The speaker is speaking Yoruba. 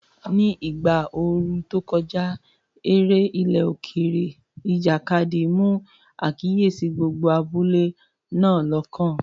Ní ìgbà ooru tó kọjá, eré ilẹ̀ òkèèrè, ìjàkadì, mú àkíyèsí gbogbo abúlé náà lọ́kàn.